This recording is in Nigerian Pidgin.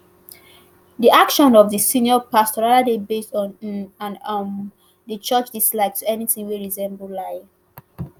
di action of di senior pastor rather dey based on im and um di church dislike to anytin wey resemble lie